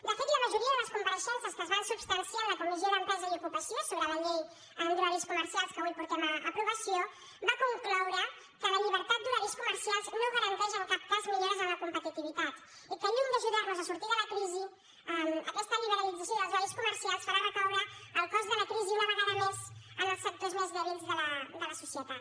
de fet la majoria de les compareixences que es van substanciar en la comissió d’empresa i ocupació sobre la llei d’horaris comercials que avui portem a aprovació va concloure que la llibertat d’horaris comercials no garanteix en cap cas millores en la competitivitat i que lluny d’ajudar nos a sortir de la crisi aquesta liberalització dels horaris comercials farà recaure el cost de la crisi una vegada més en els sectors més dèbils de la societat